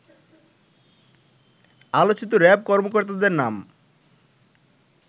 আলোচিত র‍্যাব কর্মকর্তাদের নাম